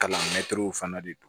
Kalan mɛtiriw fana de don